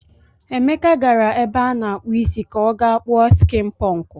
Emeka gara ebe a na-akpụ isi ka ọ gaa kpuo skịn pụnkụ.